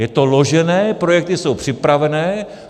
Je to ložené, projekty jsou připravené.